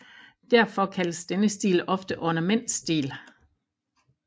Derfor kaldes denne stil ofte ornamentstil